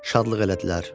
Şadlıq elədilər.